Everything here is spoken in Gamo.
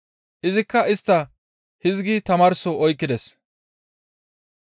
Izikka istta hizgi tamaarso oykkides;